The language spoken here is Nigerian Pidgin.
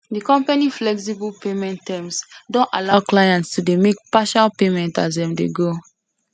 de company flexible payment terms don allow clients to dey make partial payments as dem dey go